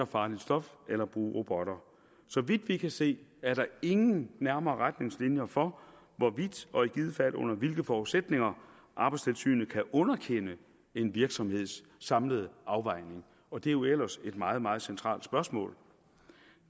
farligt stof eller bruge robotter så vidt vi kan se er der ingen nærmere retningslinjer for hvorvidt og i givet fald under hvilke forudsætninger arbejdstilsynet kan underkende en virksomheds samlede afvejning og det er jo ellers et meget meget centralt spørgsmål